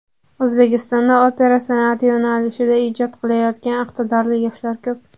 O‘zbekistonda opera san’ati yo‘nalishida ijod qilayotgan iqtidorli yoshlar ko‘p.